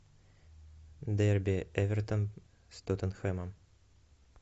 дерби эвертон с тоттенхэмом